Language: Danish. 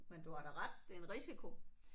Men du har da ret. Det er en risiko